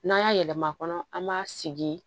N'an y'a yɛlɛma kɔnɔ an b'a sigi